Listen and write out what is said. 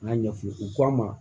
N y'a ɲɛf'u ye u k'a ma